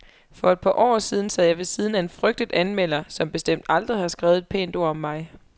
For et par år siden sad jeg ved siden af en frygtet anmelder, som bestemt aldrig har skrevet et pænt ord om mig.